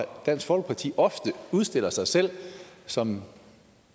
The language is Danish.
dansk folkeparti ofte udstiller sig selv som